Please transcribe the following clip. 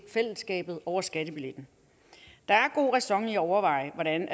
fællesskabet over skattebilletten der er god ræson i at overveje hvordan